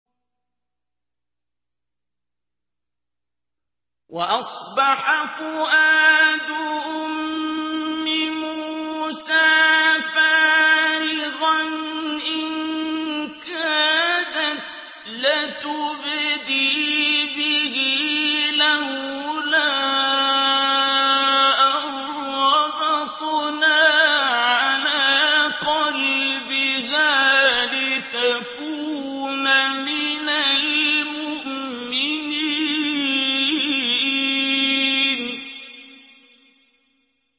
وَأَصْبَحَ فُؤَادُ أُمِّ مُوسَىٰ فَارِغًا ۖ إِن كَادَتْ لَتُبْدِي بِهِ لَوْلَا أَن رَّبَطْنَا عَلَىٰ قَلْبِهَا لِتَكُونَ مِنَ الْمُؤْمِنِينَ